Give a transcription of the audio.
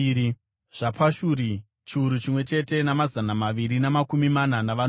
zvaPashuri, chiuru chimwe chete namazana maviri namakumi mana navanomwe;